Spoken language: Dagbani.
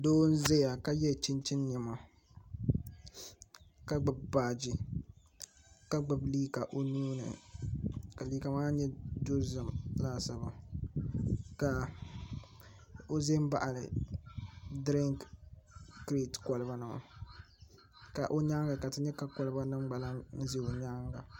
Doo n ʒɛya ka yɛ chinchin niɛma ka gbubi baaji ka gbubi liiga o nuuni ka liiga maa nyɛ dozim laasabu ka o ʒɛ n baɣali dirink kirɛt kolba maa ka o nyaanga ka ti nyɛ ka kolba nim gba lahi ʒɛ o nyaangi maa